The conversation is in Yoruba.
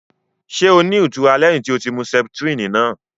Ṣé o ní itura lẹhin tí o mú septrini náà?